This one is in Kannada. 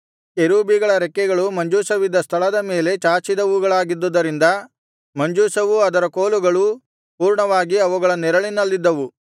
ಕೆರೂಬಿಗಳ ರೆಕ್ಕೆಗಳು ಮಂಜೂಷವಿದ್ದ ಸ್ಥಳದ ಮೇಲೆ ಚಾಚಿದವುಗಳಾಗಿದ್ದುದರಿಂದ ಮಂಜೂಷವೂ ಅದರ ಕೋಲುಗಳೂ ಪೂರ್ಣವಾಗಿ ಅವುಗಳ ನೆರಳಿನಲ್ಲಿದ್ದವು